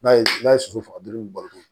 N'a ye n'a ye soso faga dɔrɔn i b'u balo